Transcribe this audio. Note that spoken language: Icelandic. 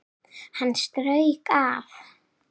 Hann strauk af